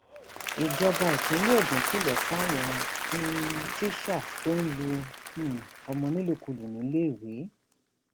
ìjọba ìpínlẹ ogun kìlọ fáwọn um tíṣà tó ń lu um ọmọ nílùkulù níléèwé